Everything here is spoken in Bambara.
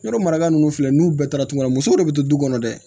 Yɔrɔ maraka ninnu filɛ n'u bɛɛ taara tungafɛ musow de bɛ to du kɔnɔ dɛ